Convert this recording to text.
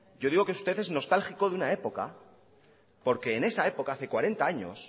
yo digo que usted es nostálgico de una época porque en esa época hace cuarenta años